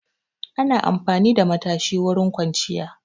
Ana amfani da matashi wurin kwanciya.